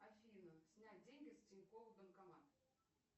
афина снять деньги с тинькофф банкомат